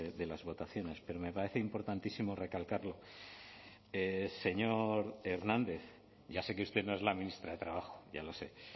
de las votaciones pero me parece importantísimo recalcarlo señor hernández ya sé que usted no es la ministra de trabajo ya lo sé